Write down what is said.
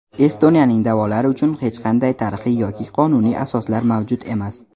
Estoniyaning da’volari uchun hech qanday tarixiy yoki qonuniy asoslar mavjud emas.